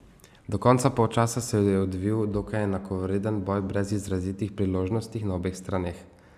Do konca polčasa se je odvijal dokaj enakovreden boj brez izrazitih priložnostih na obeh straneh.